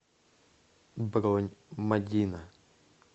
бронь мадина